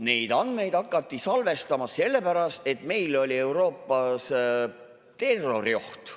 Neid andmeid hakati salvestama sellepärast, et meil oli Euroopas terrorioht.